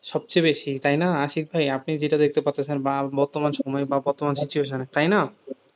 সবচেয়ে বেশি তাই না, আশিক ভাই আপনি যেটা দেখতে পাচ্ছেন, বা বর্তমান সময়ে বা বর্তমান situation এ, তাই না,